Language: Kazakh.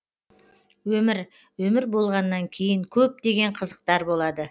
өмір өмір болғаннан кейін көп деген қызықтар болады